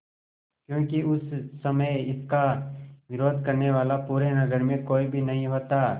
क्योंकि उस समय इसका विरोध करने वाला पूरे नगर में कोई भी नहीं होता